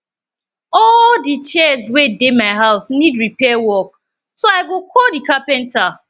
all the chairs wey dey my house need repair work so i go call the carpenter